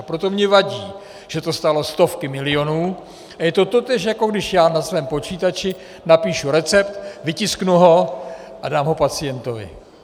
A proto mi vadí, že to stálo stovky milionů a je to totéž, jako když já na svém počítači napíšu recept, vytisknu ho a dám ho pacientovi.